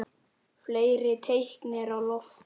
Fleiri teikn eru á lofti.